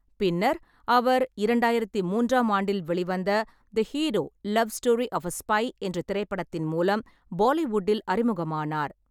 பின்னர் அவர் இரண்டாயிரத்து மூன்றாம் ஆண்டில் வெளிவந்த the hero love story of a spy என்ற திரைப்படத்தின் மூலம் பாலிவுட்டில் அறிமுகமானார்.